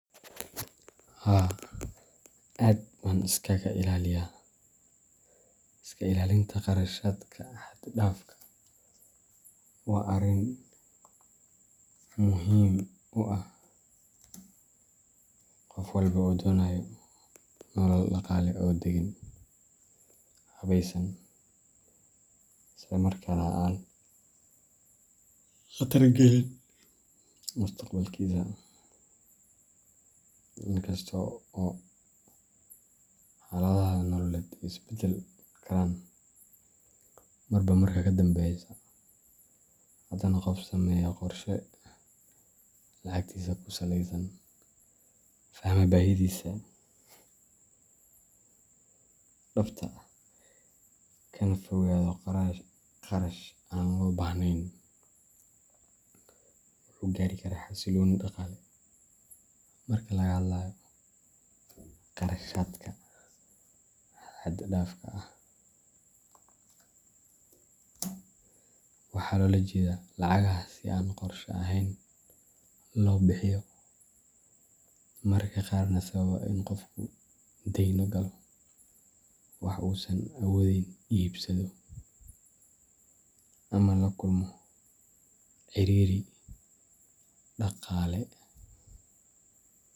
Haa aad baan iskaga iskaga ilaliya. Iska ilaalinta kharashaadka xad dhaafka ah waa arrin muhiim u ah qof walba oo doonaya nolol dhaqaale oo deggan, habaysan, isla markaana aan khatar gelin mustaqbalkiisa. In kasta oo xaaladaha nololeed ay isbedeli karaan marba marka ka dambeysa, haddana qofka sameeya qorshe lacagtiisa ku saleysan, fahma baahidiisa dhabta ah, kana fogaada kharash aan loo baahnayn, wuxuu gaari karaa xasillooni dhaqaale. Marka la hadlayo kharashaadka xad dhaafka ah, waxaa loola jeedaa lacagaha si aan qorsho ahayn loo bixiyo, mararka qaarna sababa in qofku dayn galo, wax uusan awoodeyn iibsado, ama la kulmo ciriiri dhaqaale.